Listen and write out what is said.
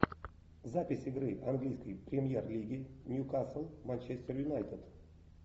запись игры английской премьер лиги ньюкасл манчестер юнайтед